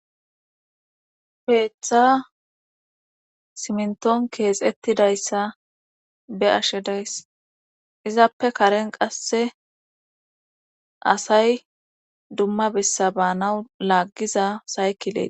Keeththa simnton keexettidayssa be ashe dayss izappe karen qasse asay dumma bessa baanawu laaggiza saykile